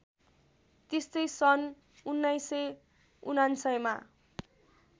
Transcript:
त्यस्तै सन् १९९९ मा